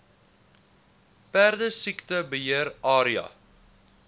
perdesiekte beheer area